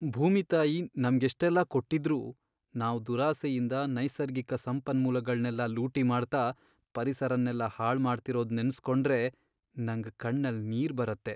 ಭೂಮಿ ತಾಯಿ ನಮ್ಗೆಷ್ಟೆಲ್ಲ ಕೊಟ್ಟಿದ್ರೂ ನಾವ್ ದುರಾಸೆಯಿಂದ ನೈಸರ್ಗಿಕ ಸಂಪನ್ಮೂಲಗಳ್ನೆಲ್ಲ ಲೂಟಿ ಮಾಡ್ತಾ, ಪರಿಸರನೆಲ್ಲ ಹಾಳ್ಮಾಡ್ತಿರೋದ್ ನೆನೆಸ್ಕೊಂಡ್ರೆ ನಂಗ್ ಕಣ್ಣಲ್ ನೀರ್ ಬರತ್ತೆ.